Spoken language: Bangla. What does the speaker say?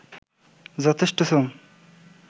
যথেষ্ট শ্রম